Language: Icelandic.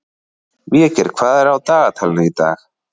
Végeir, hvað er á dagatalinu í dag?